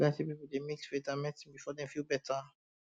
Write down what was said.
plenty people dey mix faith and and medicine before dem feel better